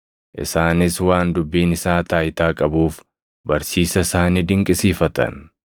Isaanis waan dubbiin isaa taayitaa qabuuf barsiisa isaa ni dinqisiifatan.